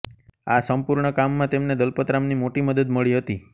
આ સંપૂર્ણ કામમાં તેમને દલપતરામની મોટી મદદ મળી હતી